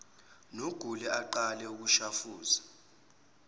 nogule aqalise ukushafuza